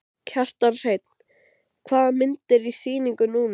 Kjartan Hreinn: Hvaða mynd er í sýningu núna?